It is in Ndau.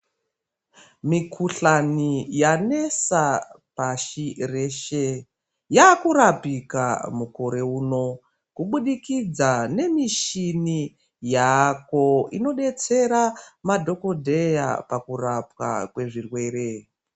Mikuhlani yanesa pashi reshe yakurapika mukore uno kubudikidza nemishini yaako inodetsera madhokodheya pakurapwa kwezvirwere.